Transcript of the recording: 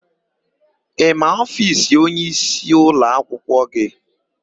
Ị ma ofiisi onyeisi ụlọakwụkwọ gị?